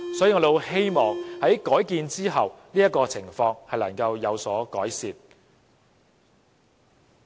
所以，我們很希望在改建之後，這種情況會有所改善。